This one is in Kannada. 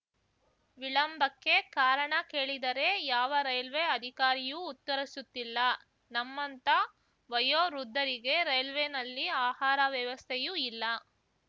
ವಿಳಂಬಕ್ಕೆ ಕಾರಣ ಕೇಳಿದರೆ ಯಾವ ರೈಲ್ವೆ ಅಧಿಕಾರಿಯೂ ಉತ್ತರಸುತ್ತಿಲ್ಲ ನಮ್ಮಂಥ ವಯೋವೃದ್ಧರಿಗೆ ರೈಲ್ವೇನಲ್ಲಿ ಆಹಾರ ವ್ಯವಸ್ಥೆಯೂ ಇಲ್ಲ